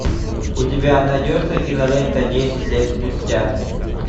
у тебя найдется кинолента десять лет спустя